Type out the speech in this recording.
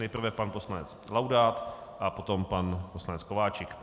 Nejprve pan poslanec Laudát a potom pan poslanec Kováčik.